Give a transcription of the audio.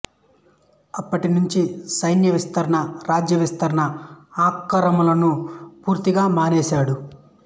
అప్పటి నుంచీ సైన్య విస్తరణ రాజ్య విస్తరణ ఆక్రమణలను పూర్తిగా మానేశాడు